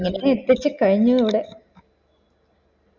എനിക്ക് കഴിഞ്ഞു ഇവിടെ